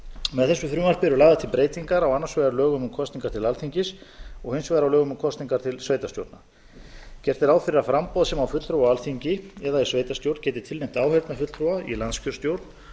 með þessu frumvarpi eru lagðar til breytingar á annars vegar lögum um kosningar til alþingis og hins vegar á lögum um kosningar til sveitarstjórna gert er ráð fyrir að framboð sem á fulltrúa á alþingi eða í sveitarstjórn geti tilnefnt áheyrnarfulltrúa í landskjörstjórn